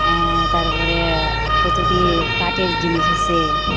অ্যাঁ তারপরে অ্যা কতটি কাঠের জিনিস আছে।